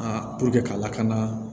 puruke ka lakana